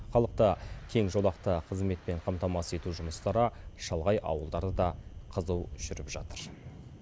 халықты кеңжолақты қызметпен қамтамасыз ету жұмыстары шалғай ауылдарда да қызу жүріп жатыр